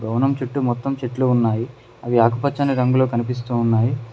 భవనం చుట్టు మొత్తం చెట్లు ఉన్నాయి అవి ఆకుపచ్చని రంగులో కనిపిస్తూ ఉన్నాయి.